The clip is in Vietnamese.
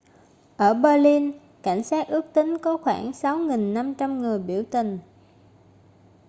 ở berlin cảnh sát ước tính có khoảng 6.500 người biểu tình